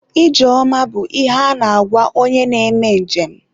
ije ọma bụ ihe a na-agwa onye na-eme nje m.